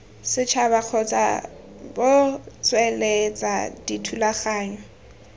setšhaba kgotsa bgo tsweletsa dithulaganyo